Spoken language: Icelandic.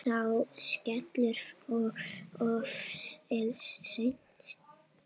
Sá skellur kom of seint.